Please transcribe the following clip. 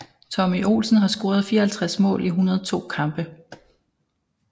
Tommy Olsen har scoret 54 mål i 102 kampe